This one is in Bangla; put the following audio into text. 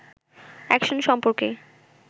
অ্যাকশন সম্পর্কে